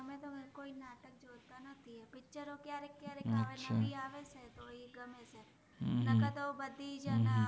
અત્ય઼આરે એક નવિ આવે છે એ ગ્મે છે ન ક તો બદ્ધિ